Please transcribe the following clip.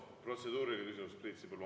Protseduuriline küsimus, Priit Sibul.